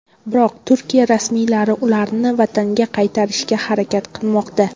Biroq Turkiya rasmiylari ularni vataniga qaytarishga harakat qilmoqda.